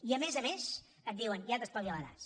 i a més a més et diuen ja t’espavilaràs